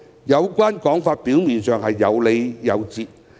這個說法表面看似有理有節。